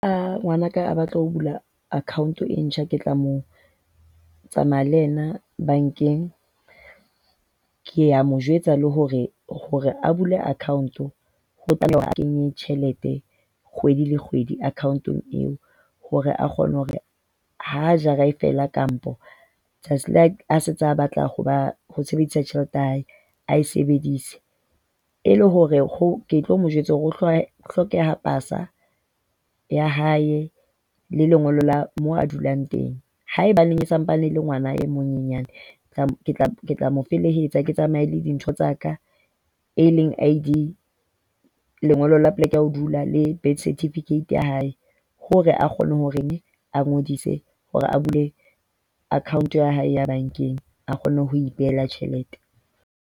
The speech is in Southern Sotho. Ha ngwanaka a batla ho bula account e ntjha ke tla mo tsamaya le yena bankeng. Ke a mo jwetsa le hore hore a bule account tlameha hore o kenye tjhelete kgwedi le kgwedi akhaontong eo hore a kgone hore ha jara e fela kampo letsatsi a setse a sa batla hoba ho sebedisa tjhelete ya hae a e sebedise. E le hore ke tlo mo jwetsa hore ho hlokeha pasa ya hae le lengolo la moo a dulang teng. Haebaneng o sampane e le ngwana a monyenyane, ke tla ke tla mo felehetsa, ke tsamaye le dintho tsa ka. E leng ID, lengolo la poleke ya ho dula le birth certificate ya hae hore a kgone hore a ngodise hore a bule account ya hae ya bankeng. A kgone ho ipehela tjhelete.